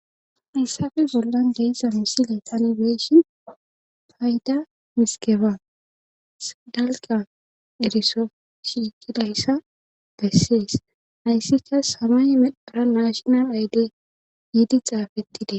Hayssafe bollan geeza misile tani beyshi fayda miskefas dalqa eriso shiiqidayssa dessies hayssika samay medara maashinal ayde yiidi xaafettide.